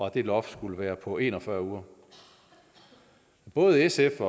at det loft skulle være på en og fyrre uger både sf